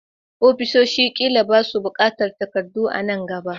Ofisoshin ƙila ba su buƙatar takardu a nan gaba.